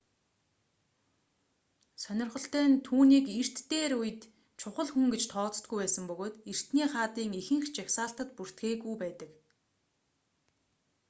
сонирхолтой нь түүнийг эрт дээр үед чухал хүн гэж тооцдоггүй байсан бөгөөд эртний хаадын ихэнх жагсаалтад бүртгээгүй байдаг